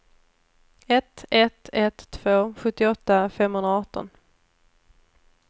ett ett ett två sjuttioåtta femhundraarton